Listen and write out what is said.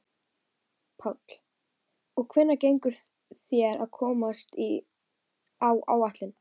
Páll: Og hvernig gengur þér að komast á áætlun?